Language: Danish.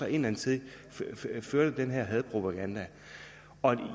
indadtil førte den her hadepropaganda